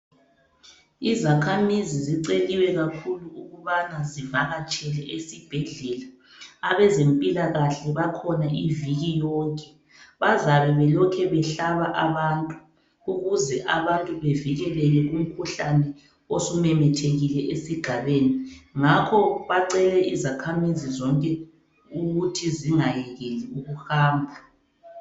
Izakhamizi ziceliwe kakhulu ukubana zivakatshele ezibhedlela. Abezempilakahle bakhona iviki yonke. Bazabe belokhe behlaba abantu ukuze abantu bevikeleke kumikhuhlane osumemethekile esigabeni. Ngakho bacele izakhamizi zonke ukuthi zingayekeli ukuhamba.